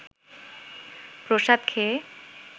প্রসাদ খেয়ে